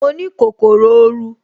Mo ní kòkòrò oru